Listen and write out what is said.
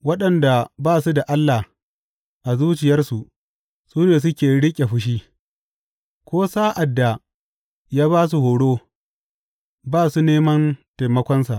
Waɗanda ba su da Allah a zuciyarsu su ne suke riƙe fushi; ko sa’ad da ya ba su horo, ba su neman taimakonsa.